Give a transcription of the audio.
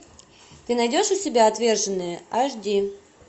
ты найдешь у себя отверженные аш ди